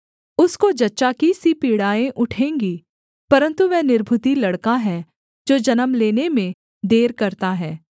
उसको जच्चा की सी पीड़ाएँ उठेंगी परन्तु वह निर्बुद्धि लड़का है जो जन्म लेने में देर करता है